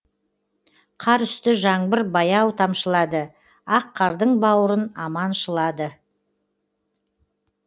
қар үсті жаңбыр баяу тамшылады ақ қардың бауырын аманшылады